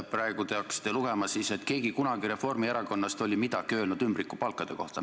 Praegu te hakkasite rääkima, et keegi Reformierakonnast oli kunagi midagi öelnud ümbrikupalkade kohta.